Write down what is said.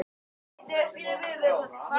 Hver var þjálfarinn?